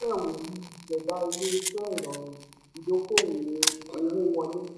ìṣẹ̀dá ilé-iṣẹ́ ìrọ̀rùn ìdókòwò owó wọlé.